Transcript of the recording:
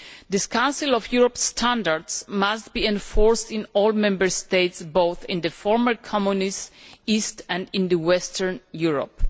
These Council of Europe standards must be enforced in all Member States, both in the former Communist East and in Western Europe.